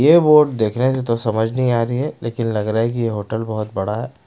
ये बोर्ड देख रहे हैं तो समझ नहीं आ रही है लेकिन लग रहा है कि ये होटल बहुत बड़ा है।